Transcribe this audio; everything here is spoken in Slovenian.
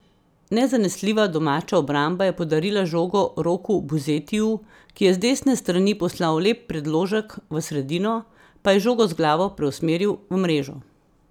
Nezanesljiva domača obramba je podarila žogo Roku Buzetiju, ki je z desne strani poslal lep predložek v sredino, pa je žogo z glavo preusmeril v mrežo.